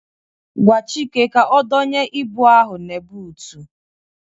Gwa Chike ka odonye ịbụ ahụ n'butu